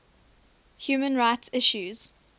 human rights issues